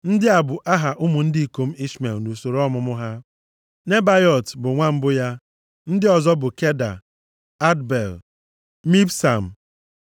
Ndị a bụ aha ụmụ ndị ikom Ishmel nʼusoro ọmụmụ ha. Nebaiot bụ nwa mbụ ya. Ndị ọzọ bụ Keda, Adbel, Mibsam,